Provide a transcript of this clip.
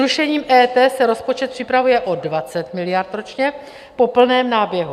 Zrušením EET se rozpočet připravuje o 20 miliard ročně po plném náběhu.